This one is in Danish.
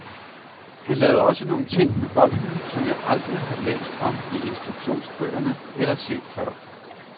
Han lavede altså nogle ting med bolden, som jeg aldrig har læst om i instruktionsbøgerne eller set før.